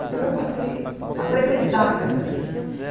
Então eu passei a frequentar a casa deles.